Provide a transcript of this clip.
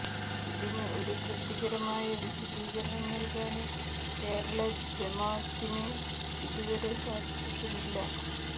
ഇതിന് ഒരു തൃപ്തികരമായ വിശദീകരണം നല്കാന് കേരള ജമാത്തിന് ഇതു വരെ സാധിച്ചിട്ടുമില്ല